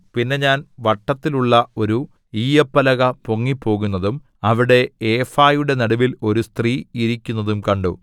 പിന്നെ ഞാൻ വട്ടത്തിലുള്ള ഒരു ഈയ്യപ്പലക പൊങ്ങിപ്പോകുന്നതും അവിടെ ഏഫായുടെ നടുവിൽ ഒരു സ്ത്രീ ഇരിക്കുന്നതും കണ്ടു